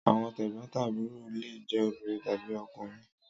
Àwọn tẹ̀gbón-tàbúrò lé je obìrin tàbí okùnrin